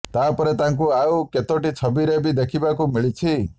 ତାପରେ ତାଙ୍କୁ ଆଉ କେତୋଟି ଛବିରେ ବି ଦେଖିବାକୁ ମିଳିଛି